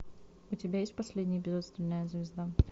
у тебя есть последний эпизод стальная звезда